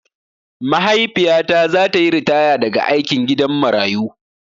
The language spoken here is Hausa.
Maiahifiyata zata yi ritaya daga aikin gidan marayu.